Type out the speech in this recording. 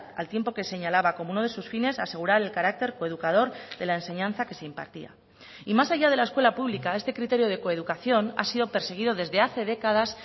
al tiempo que señalaba como uno de sus fines asegurar el carácter coeducador de la enseñanza que se impartía y más allá de la escuela pública este criterio de coeducación ha sido perseguido desde hace décadas